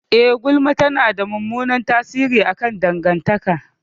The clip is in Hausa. Eh, gulma tana da mummunan tasiri akan dangantaka.